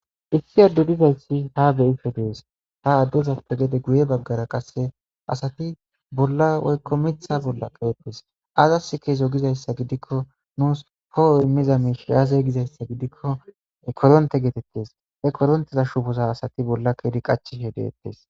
Issi addudidayssi ha beyife dees ha addozappe gede guye baggara qasse asati bolla woykko mitha bolla keettes azas keezo gizayssa gidikko nuus poho immiza miish aaze gizayssa gidikko e koronte geetettes he koronteza shufoza asati bolla keedi qachishe deettes.